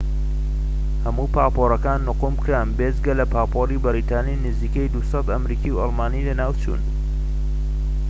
هەموو پاپۆرەکان نقوم کران، بێجگە لە پاپۆری بەریتانی، نزیەکی ٢٠٠ ئەمریکی و ئەڵمانی لەناوچوون